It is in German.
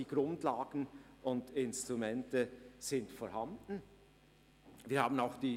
Die Grundlagen und Instrumente sind somit vorhanden.